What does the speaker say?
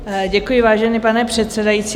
Děkuji, vážený pane předsedající.